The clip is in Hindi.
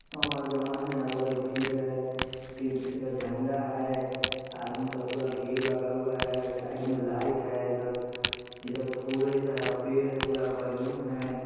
अमर जवान है उधर भीड़ है तीन किस्म का झंडा है आदमी का पूरा भीड़ लगा हुआ है साइड में लाइट है इधर उधर फुल ऐसा है पेड़ है पूरा बैलून है।